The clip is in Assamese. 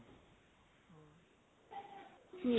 কি